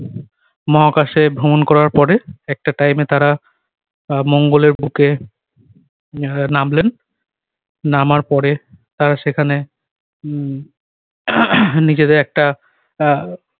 মহাকাশে ভ্রমণ করার পরে একটা time এ তারা আহ মঙ্গলের বুকে আহ নামলেন। নামার পরে তারা সেখানে উহ নিজেদের একটা আহ